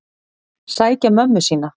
Sækja mömmu sína.